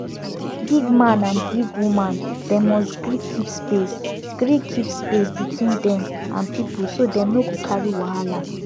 big man and big woman dem must gree keep space gree keep space between dem and people so dem no go carry wahala